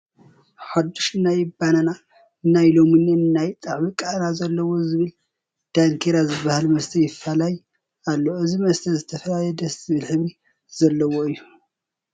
ሓዱሽ ናይ በነናን ናይ ለሚንን ናይ ጣዕሚ ቃና ዘለዎ ብዝብል ዳንኬራ ዝበሃል መስተ ይፋለይ ኣሎ፡፡ እዚ መስተ ዝተፈላለየ ደስ ዝብል ሕብሪ ዘለዎ እዩ፡፡